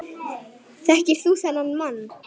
Þekkir þú þennan mann?